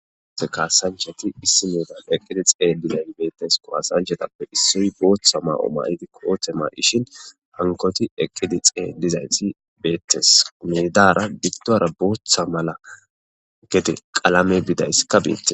Ha kassanchati issi bolla eqqidi xeelidayssa bettes .kassa'anchchatappe issoy booththa may'o mayidi kooththe may'ishin hankkotti eqqidi xeelizayti bettes . Mindara giddora booththa mala gedde qalamme bidayssika bettes